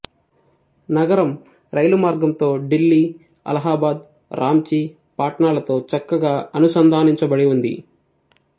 నగరం రైలు మర్గంతో ఢిల్లీ అలహాబాద్ రాంచి పాట్నాలతో చక్కగా అనుసంధానించబడి ఉంది